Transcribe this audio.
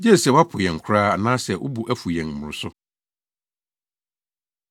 gye sɛ woapo yɛn koraa anaasɛ wo bo afuw yɛn mmoroso.